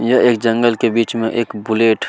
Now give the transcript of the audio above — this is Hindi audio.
यह एक जंगल के बीच में एक बुलेट --